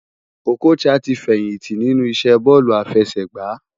Okocha ti fèyinti ninú isé bòlú áfèsègbá